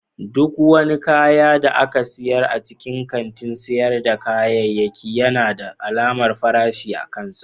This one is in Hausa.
Duk wani kayan da aka sayar a cikin kantin sayar da kayayyaki yana da alamar farashi akansa.